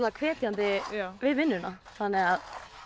hvetjandi við vinnuna þannig að